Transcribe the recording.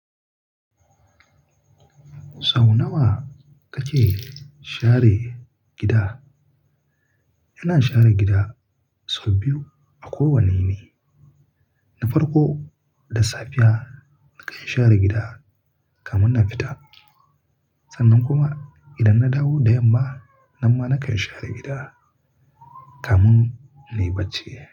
Sau nawa kake share gida? Ina share gida sau biyu a kowane yini. Na farko da safiya, nakan share gida kamin na fita. Sannan kuma idan na dawo da yamma, nan ma nakan share gida kamin nai bacci.